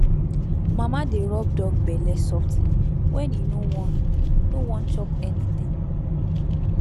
mama dey rub dog belle softly when e no wan no wan chop anything